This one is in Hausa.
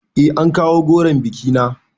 Eh an kawo goron bikina